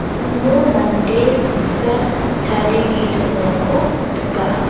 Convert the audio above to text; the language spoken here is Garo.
uno mande saksa chadenge dongako nika.